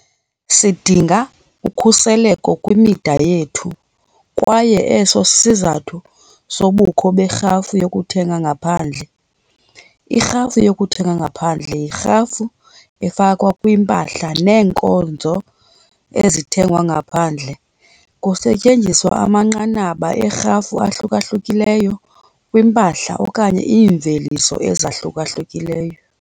Sidinga ukhuselo kwimida yethu kwaye eso sisizathu sobukho berhafu yokuthenga ngaphandle. Irhafu yokuthenga ngaphandle yirhafu efakwa kwimpahla neenkonzo ezithengwa ngaphandle. Kusetyenziswa amanqanaba eerhafu ahluka-hlukileyo kwimpahla okanye iimveliso ezahluka-hlukileyo.